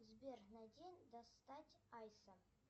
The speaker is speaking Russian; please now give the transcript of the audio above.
сбер найди достать айса